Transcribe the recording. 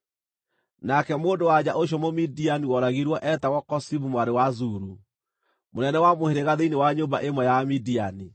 Nake mũndũ-wa-nja ũcio Mũmidiani woragirwo, eetagwo Kozibi mwarĩ wa Zuru, mũnene wa mũhĩrĩga thĩinĩ wa nyũmba ĩmwe ya Amidiani.